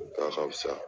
A ka fisa